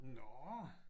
Nå!